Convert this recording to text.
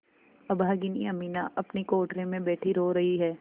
अभागिनी अमीना अपनी कोठरी में बैठी रो रही है